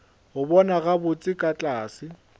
go bona gabotse ka tlase